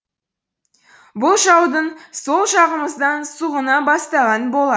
бұл жаудың сол жағымыздан сұғына бастағаны болар